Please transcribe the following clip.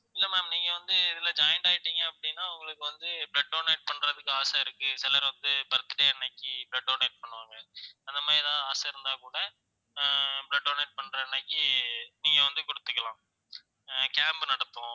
இல்ல ma'am நீங்க வந்து இதுல joint ஆயிட்டீங்க அப்படின்னா உங்களுக்கு வந்து blood donate பண்றதுக்கு ஆசை இருக்கு சிலர் வந்து birthday அன்னைக்கு blood donate பண்ணுவாங்க அந்த மாதிரி ஏதாவது ஆசை இருந்தா கூட ஆஹ் blood donate பண்ற அன்னைக்கு நீங்க வந்து கொடுத்துக்கலாம் அஹ் camp நடத்துவோம்